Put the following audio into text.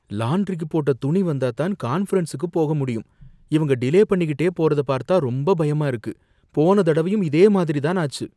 லாண்ட்ரிக்கு போட்ட துணி வந்தாத்தான் கான்ஃபரன்ஸ்க்கு போக முடியும். இவங்க டிலே பண்ணிக்கிட்டே போறத பார்த்தா ரொம்ப பயமா இருக்கு. போன தடவையும் இதே மாதிரி தான் ஆச்சு.